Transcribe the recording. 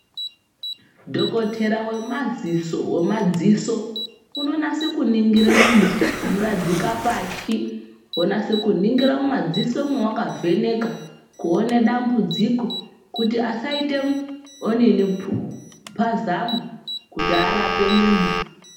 Dhokotera vemaziso vemadziso unonase kuningira muntu kumuradzike pashi vonase kuningira mumadziso mwavakavheneka kuone dambudziko. Kuti asaite onini pazamu kuti arape muntu.